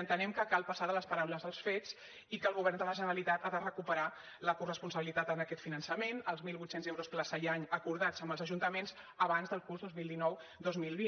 entenem que cal passar de les paraules als fets i que el govern de la generalitat ha de recuperar la corresponsabilitat en aquest finançament els mil vuit cents euros plaça i any acordats amb els ajuntaments abans del curs vint milions cent i noranta dos mil vint